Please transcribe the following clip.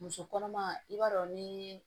Muso kɔnɔma i b'a dɔn ni